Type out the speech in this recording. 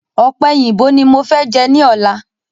Ọ̀pẹ̀yìnbo ni mofẹ jẹ ni ọ̀la.